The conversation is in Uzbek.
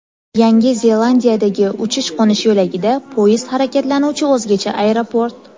Yangi Zelandiyadagi uchish-qo‘nish yo‘lagida poyezd harakatlanuvchi o‘zgacha aeroport .